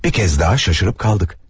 Bir kəz daha şaşırıb qaldıq.